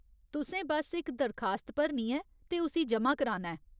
तुसें बस इक दरखास्त भरनी ऐ ते उसी ज'मा कराना ऐ।